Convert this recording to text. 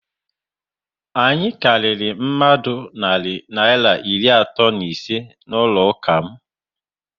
Anyị karịrị mmadụ narị Naịra iri atọ na ise n'ụlọ ụka m